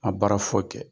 A baara foyi kɛ